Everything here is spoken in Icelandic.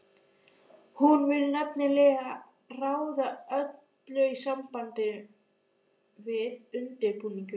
Hún vill nefnilega ráða öllu í sambandi við undirbúninginn.